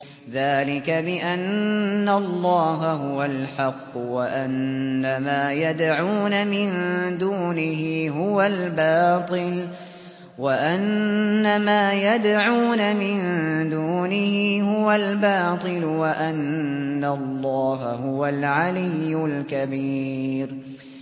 ذَٰلِكَ بِأَنَّ اللَّهَ هُوَ الْحَقُّ وَأَنَّ مَا يَدْعُونَ مِن دُونِهِ هُوَ الْبَاطِلُ وَأَنَّ اللَّهَ هُوَ الْعَلِيُّ الْكَبِيرُ